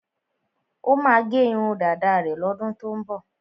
Ó máa gẹ irun dáda rẹ̀ lọ́dún tó ń bọ̀.